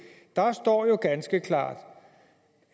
står der jo ganske klart